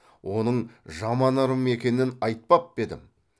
оның жаман ырым екенін айтпап па едім